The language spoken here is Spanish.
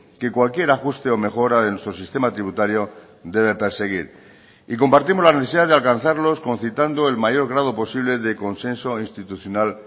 que cualquier ajuste o mejora de nuestro sistema tributario debe perseguir y compartimos la necesidad de alcanzarlos concitando el mayor grado posible de consenso institucional